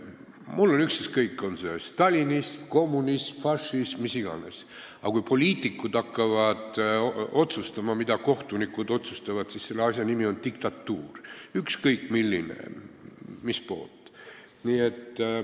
Mul on ükskõik, on see stalinism, kommunism, fašisim või mis iganes, aga kui poliitikud hakkavad otsustama, mida kohtunikud otsustavad, siis selle asja nimi on "diktatuur" – ükskõik milline ja kelle poolt.